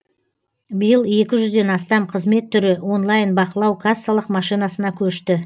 биыл екі жүзден астам қызмет түрі онлайн бақылау кассалық машинасына көшті